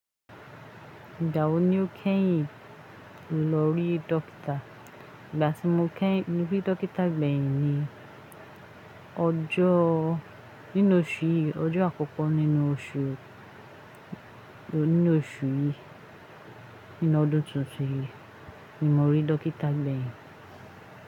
Igba wó ní ó kẹ́yìn lọ rí dọ́kítà? Ìgbà tí mo kẹ́yìn lọ rí dọ́kítà gbẹ̀yìn ni, ọjọ́ nínú oṣù yìí, ọjọ́ àkọ́kọ́ nínú oṣù, nínú oṣù yìí, nínú ọdún tuntun yìí ni mo rí dọ́kítà gbẹ̀yìn.